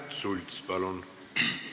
Märt Sults, palun!